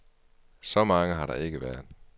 Så mange har der ikke været.